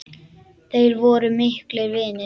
Þeir voru miklir vinir.